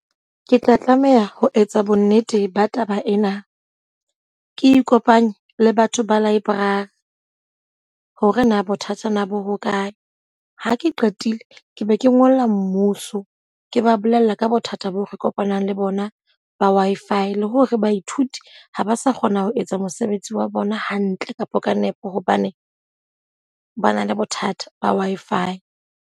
Ke tla tlameha ho etsa bo nnete ba taba ena. Ke ikopanye le batho ba library hore na bothatanyana bo hokae? Ha ke qetile ke be ke ngolla mmuso ke ba bolella ka bothata bo re kopanang le bona ba Wi-Fi. Le hore baithuti ha ba sa kgona ho etsa mosebetsi wa bona hantle kapa ka nepo hobane ba na le bothata ba Wi-Fi.